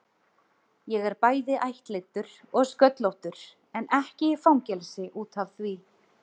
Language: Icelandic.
Ég er bæði ættleiddur og sköllóttur, en ekki í fangelsi út af því.